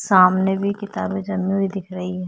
सामने भी किताबें हुई दिख रही हैं।